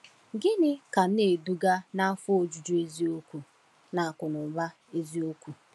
Gịnị ka na-eduga n’afọ ojuju eziokwu na akụnụba eziokwu?